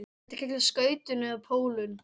Þetta kallast skautun eða pólun.